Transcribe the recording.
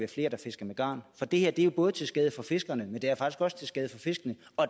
fiske med garn for det her er jo både til skade for fiskerne men